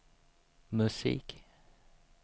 musik